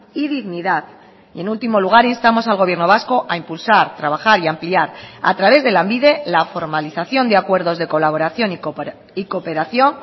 y dignidad y en último lugar instamos al gobierno vasco a impulsar trabajar y ampliar a través de lanbide la formalización de acuerdos de colaboración y cooperación